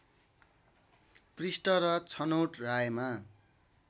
पृष्ठ र छनौट रायमा